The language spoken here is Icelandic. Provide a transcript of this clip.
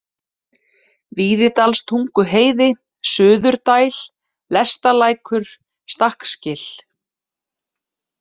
Víðidalstunguheiði, Suðurdæl, Lestalækur, Stakksgil